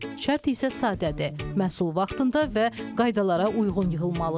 Şərt isə sadədir, məhsul vaxtında və qaydalara uyğun yığılmalıdır.